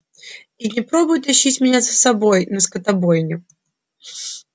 и не пробуй тащить меня за собой на скотобойню